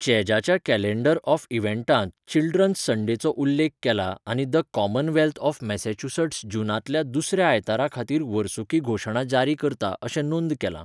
चॅजाच्या calendar of इव्हँटांत children's संडेचो उल्लेख केला आनी द कॉमनवेल्थ ऑफ मॅसेच्युसेट्स जूनांतल्या दुसऱ्या आयतारा खातीर वर्सुकी घोशणा जारी करता अशें नोंद केलां.